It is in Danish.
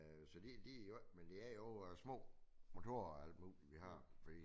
Så de de i orden men det er i øvrigt små motorer og alt muligt vi har